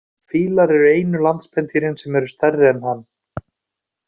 Fílar eru einu landspendýrin sem eru stærri en hann.